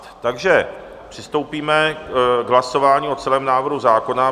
Takže přistoupíme k hlasování o celém návrhu zákona.